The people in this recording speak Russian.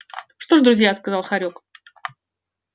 что ж друзья сказал хорёк